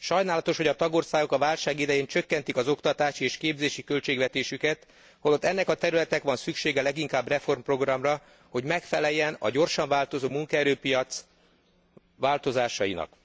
Sajnálatos, hogy a tagországok a válság idején csökkentik az oktatási és képzési költségvetésüket, holott ennek a területnek van szüksége leginkább reformprogramra, hogy megfeleljen a gyorsan változó munkaerőpiac változásainak.